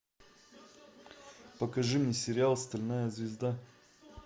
покажи мне сериал стальная звезда